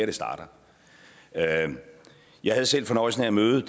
det starter jeg havde selv fornøjelsen af at møde